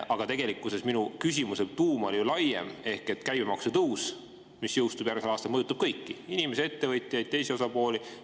Aga tegelikkuses minu küsimuse tuum oli ju laiem: käibemaksu tõus, mis jõustub järgmisel aastal, mõjutab kõiki – inimesi, ettevõtjaid, teisi osapooli.